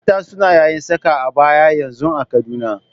Mata suna yayin saka abaya yanzun a Kaduna.